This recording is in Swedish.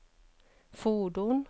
fordon